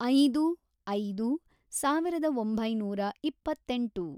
ಐದು. ಐದು, ಸಾವಿರದ ಒಂಬೈನೂರ ಇಪ್ಪತ್ತೆಂಟು